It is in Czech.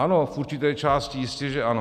Ano, v určité části jistě že ano.